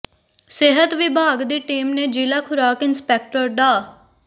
ਸਿਹਤ ਵਿਭਾਗ ਦੀ ਟੀਮ ਨੇ ਜ਼ਿਲ੍ਹਾ ਖੁਰਾਕ ਇੰਸਪੈਕਟਰ ਡਾ